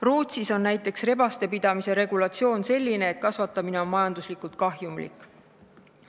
Rootsis on näiteks rebaste pidamise regulatsioon selline, et rebaste kasvatamine on majanduslikult kahjumlik.